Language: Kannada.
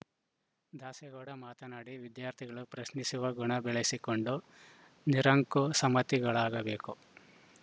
ದಾಸೇಗೌಡ ಮಾತನಾಡಿ ವಿದ್ಯಾರ್ಥಿಗಳು ಪ್ರಶ್ನಿಸುವ ಗುಣ ಬೆಳೆಸಿಕೊಂಡು ನಿರಂಕು ಶಮತಿಗಳಾಗಬೇಕು